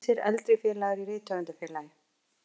Ýmsir eldri félagar í Rithöfundafélagi